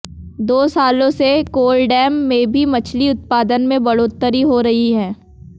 दो सालों से कोलडैम में भी मछली उत्पादन में बढ़ोतरी हो रही है